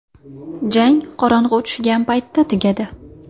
Jang qorong‘i tushgan paytda tugadi.